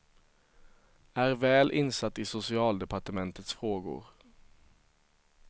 Är väl insatt i socialdepartementets frågor.